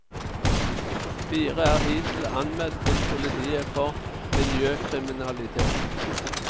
Fire er hittil anmeldt til politiet for miljøkriminalitet.